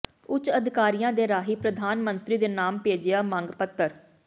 ਉੱਚ ਅਧਿਕਾਰੀਆਂ ਦੇ ਰਾਹੀਂ ਪ੍ਰਧਾਨ ਮੰਤਰੀ ਦੇ ਨਾਮ ਭੇਜਿਆ ਮੰਗ ਪੱਤਰ